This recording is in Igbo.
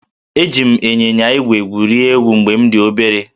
Eji m ịnyịnya ígwè gwurie egwu mgbe m dị obere